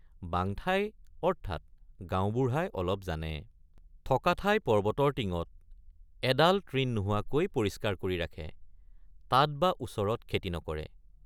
বাঙঠাই অৰ্থাৎ গাঁওবুঢ়াই অলপ জানে ৷ থকা ঠাই পৰ্বতৰ টিঙত এডাল তৃণ নোহোৱাকৈ পৰিষ্কাৰ কৰি ৰাখে তাত বা ওচৰত খেতি নকৰে।